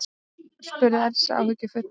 spurði Elsa áhyggjufull.